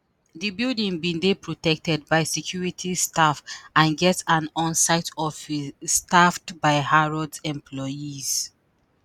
di building bin dey protected by security staff and get an on-site office staffed by harrods employees.